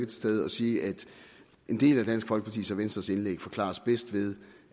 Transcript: til stede at sige at en del af dansk folkepartis og venstres indlæg forklares bedst ved